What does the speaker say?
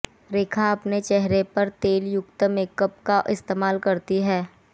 रेखा अपने चेहरे पर तेल युक्त मेकअप का इस्तेमाल करती हैं